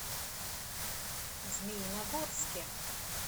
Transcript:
змеиногорске